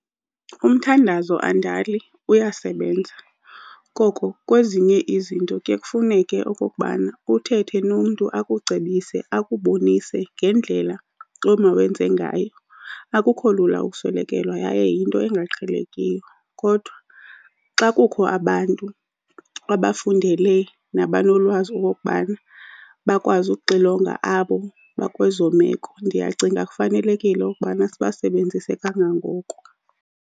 Umthandazo andali uyasebenza koko kwezinye izinto kuye kufuneke okokubana uthethe nomntu akucebise, akubonise ngendlela omawenze ngayo. Akukho lula ukuswelekelwa yaye yinto engaqhelekiyo kodwa xa kukho abantu abafundele nabanolwazi okokubana bakwazi uxilonga abo bakwezo meko, ndiyacinga kufanelekile ukubana sibasebenzise kangangoko.